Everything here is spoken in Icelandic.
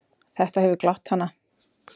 Þetta hefur glatt hana.